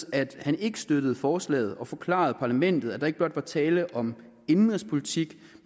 at han ikke støttede forslaget og forklarede parlamentet at der ikke blot var tale om indenrigspolitik